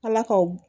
Ala ka o